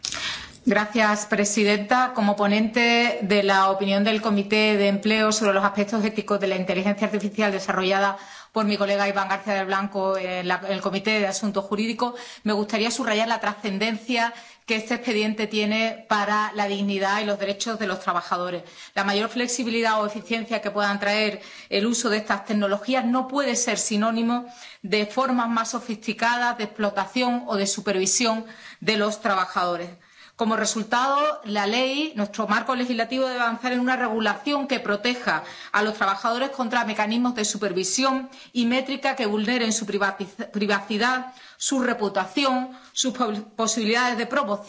Señora presidenta, como ponente de la opinión de la Comisión de Empleo y Asuntos Sociales sobre el informe relativo a los aspectos éticos de la inteligencia artificial, elaborado por Ibán García del Blanco en la Comisión de Asuntos Jurídicos, me gustaría subrayar la trascendencia que este expediente tiene para la dignidad y los derechos de los trabajadores. La mayor flexibilidad o eficiencia que puedan traer el uso de estas tecnologías no puede ser sinónimo de formas más sofisticadas de explotación o de supervisión de los trabajadores. Como resultado, la ley, nuestro marco legislativo, debe avanzar en una normativa que proteja a los trabajadores contra mecanismos de supervisión y métrica que vulneren su privacidad, su reputación o sus posibilidades de promoción